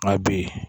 A bi yen